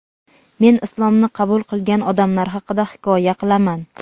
Men Islomni qabul qilgan odamlar haqida hikoya qilaman.